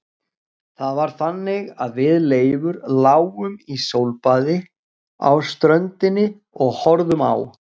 Það var þannig að við Leifur lágum í sólbaði á ströndinni og horfðum á